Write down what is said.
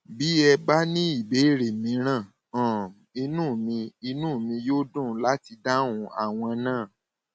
bí ẹ bá ní ìbéèrè mìíràn um inú mi inú mi yóò dùn láti dáhùn àwọn náà